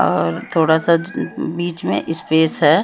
और थोड़ा सा बिच में स्पेस है।